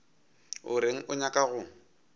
o reng o nyaka go